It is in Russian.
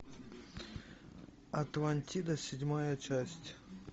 атлантида седьмая часть